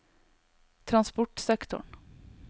transportsektoren